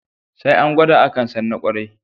Sai an gwada akan san na ƙwarai